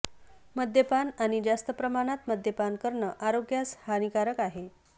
मद्यपान आणि जास्त प्रमाणात मद्यपान करणं आरोग्यास हानिकारक आहे